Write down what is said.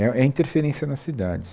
É é a interferência na cidade.